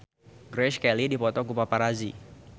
Grace Kelly dipoto ku paparazi